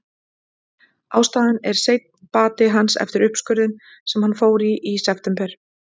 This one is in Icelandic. Ástæðan er seinn bati hans eftir uppskurðinn sem hann fór í í september.